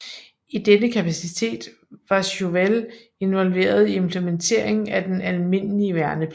I denne kapacitet var Chauvel involveret i implementeringen af den almindelige værnepligt